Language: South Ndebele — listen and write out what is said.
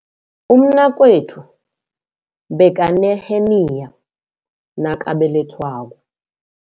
Umnakwethu bekaneheniya nakabelethwako.